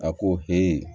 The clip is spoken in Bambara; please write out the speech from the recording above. A ko